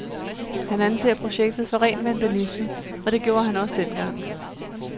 Han anser projektet for ren vandalisme, og det gjorde han også dengang.